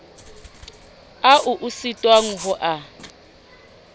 ao o sitwang ho a